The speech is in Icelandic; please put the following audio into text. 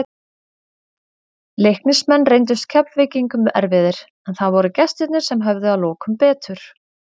Leiknismenn reyndust Keflvíkingum erfiðir, en það voru gestirnir sem höfðu að lokum betur.